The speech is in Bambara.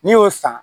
N'i y'o san